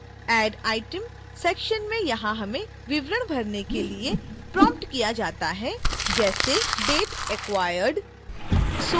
add item section में यहाँ हमें विवरण भरने के लिए प्रॉम्प्ट किया जाता है जैसे